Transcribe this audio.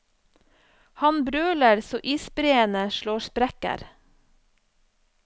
Han brøler så isbreene slår sprekker.